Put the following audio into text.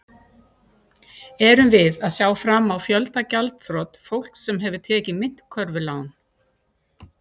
Erum við að sjá fram á fjölda gjaldþrot fólks sem hefur tekið myntkörfulán?